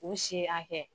U si hakɛ